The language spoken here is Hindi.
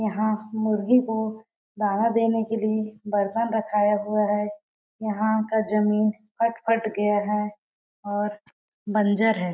यहाँ मुर्गी को दाना देने के लिए बर्तन रखाया हुआ है यहाँ का जमीन कट-कट गया है और बंजर है।